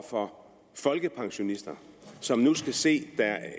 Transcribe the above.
for folkepensionister som nu skal se